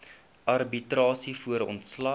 arbitrasie voor ontslag